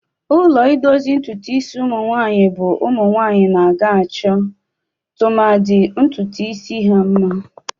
Ụlọ idozi ntụtụ isi umụnwanyị bụ ụmụnwanyị na-aga achọ, tụmadị, ntụtụ isi ha mma.